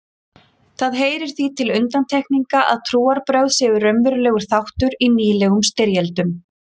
Það heyrir því til undantekninga að trúarbrögð séu raunverulegur þáttur í nýlegum styrjöldum.